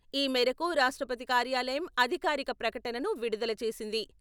ఈ మేరకు రాష్ట్రపతి కార్యాలయం అధికారిక ప్రకటనను విడుదల చేసింది.